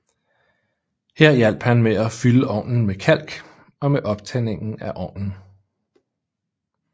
Her hjalp han med at fylde ovnen med kalk og med optændingen af ovnen